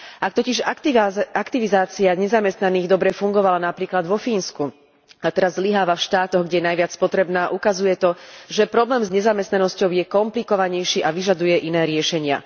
Ak totiž aktivizácia nezamestnaných dobre fungovala napríklad vo Fínsku a teraz zlyháva v štátoch, kde je najviac potrebná, ukazuje to, že problém s nezamestnanosťou je komplikovanejší a vyžaduje si iné riešenia.